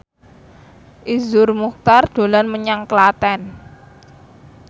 Iszur Muchtar dolan menyang Klaten